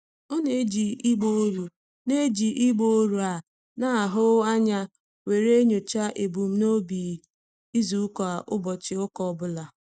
Ọ na-eji ịgba ọrụ na-eji ịgba ọrụ a na-ahụ anya were enyocha ebumnobi izuụka ụbọchị ụka ọbụla.